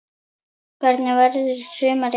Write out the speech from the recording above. Hvernig verður sumarið hjá þér?